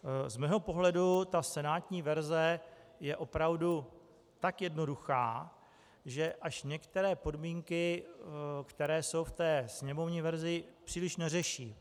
Z mého pohledu ta senátní verze je opravdu tak jednoduchá, že až některé podmínky, které jsou v té sněmovní verzi, příliš neřeší.